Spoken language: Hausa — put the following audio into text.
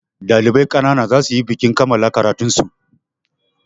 Ɗalibai ƙanana za su yi bikin kammala karatun su.